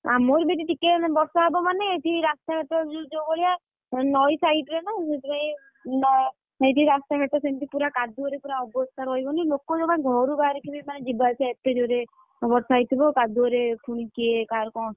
ଆମର ଜଦି ଟିକେ ବର୍ଷା ହବ ମାନେ, ଏଠି ରାସ୍ତା ଘାଟ ଯୋଉ ଭଳିଆ ନଈ side ରେ ନା ସେଥିପାଇଁକି ନ~ ଆଁ ନଈ କି ରାସ୍ତା ଘାଟ ସେମତି କାଦୁଅରେ ପୁରା ଅବସ୍ଥା ରହିବନି ଲୋକ ଜମା ଘରୁ ବହାରିକି ମାନେ ଯିବା ଆସିବା ମାନେ ଏତେ ଜୋରେ ବର୍ଷା ହେଇଥିବ, ମାନେ କାଦୁଅରେ ପୁଣି କିଏ କାହାର କଣ,